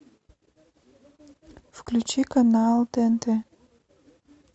включи канал тнт